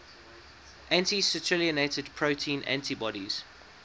anti citrullinated protein antibodies